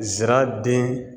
Zira den